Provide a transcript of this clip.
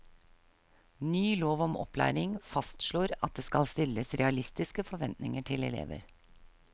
Ny lov om opplæring fastslår at det skal stilles realistiske forventninger til elever.